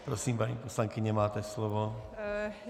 Prosím, paní poslankyně, máte slovo.